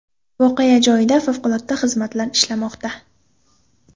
Voqea joyida favqulodda xizmatlar ishlamoqda.